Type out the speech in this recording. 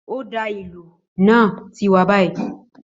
Ó dáa, ìlù náà ti wà báyìí